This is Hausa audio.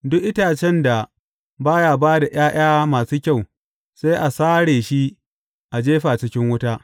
Duk itacen da ba ya ba da ’ya’ya masu kyau sai a sare shi a jefa cikin wuta.